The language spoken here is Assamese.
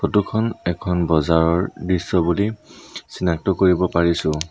ফটো খন এখন বজাৰৰ দৃশ্য বুলি চিনাক্ত কৰিব পাৰিছোঁ।